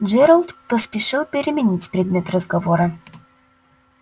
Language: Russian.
джералд поспешил переменить предмет разговора